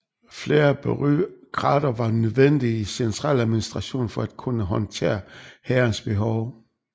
Flere bureaukrater var nødvendige i centraladministrationen for at kunne håndtere hærens behov